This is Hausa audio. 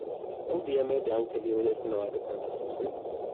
Audu ya mayar da hankali wajen kulawa da kansa sosai